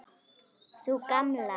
Sú Gamla?